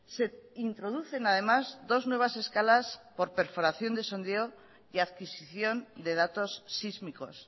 se introducen además dos nuevas escalas por perforación de sondeo y adquisición de datos sísmicos